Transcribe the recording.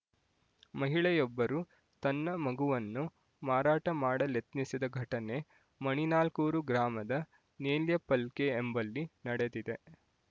ಮಹಿಳೆಯೊಬ್ಬರು ತನ್ನ ಮಗುವನ್ನು ಮಾರಾಟಮಾಡಲೆತ್ನಿಸಿದ ಘಟನೆ ಮಣಿನಾಲ್ಕೂರು ಗ್ರಾಮದ ನೇಲ್ಯಪಲ್ಕೆ ಎಂಬಲ್ಲಿ ನಡೆದಿದೆ